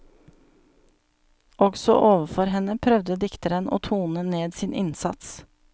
Også overfor henne prøvde dikteren å tone ned sin innsats.